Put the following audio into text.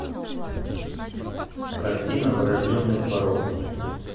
картина врожденный порок